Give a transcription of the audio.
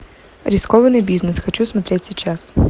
рискованный бизнес хочу смотреть сейчас